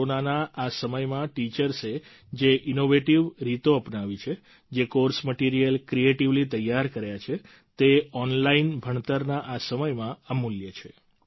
દેશભરમાં કોરોનાના આ સમયમાં ટીચર્સે જે ઈનોવેટીવ રીતો અપનાવી છે જે કોર્સ મટીરિયલ ક્રિએટિવલી તૈયાર કર્યા છે તે ઓનલાઈન ભણતરના આ સમયમાં અમૂલ્ય છે